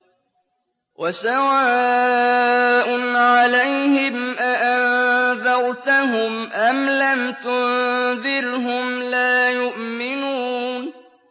وَسَوَاءٌ عَلَيْهِمْ أَأَنذَرْتَهُمْ أَمْ لَمْ تُنذِرْهُمْ لَا يُؤْمِنُونَ